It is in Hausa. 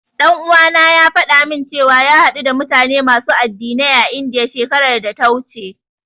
Ɗan uwana ya faɗa min cewa ya haɗu da mutane masu addinai a Indiya, shekarar data wuce.